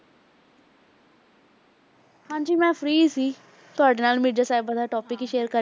ਹਾਂਜੀ ਮੈਂ free ਸੀ ਤੁਹਾਡੇ ਨਾਲ ਮਿਰਜ਼ਾ ਸਾਹਿਬਾਂ ਦਾ topic ਹੀ share ਕਰ